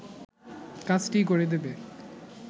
কাজটিই করে দেবে